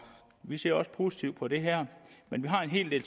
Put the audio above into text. vi ser også positivt på det her men vi har en hel del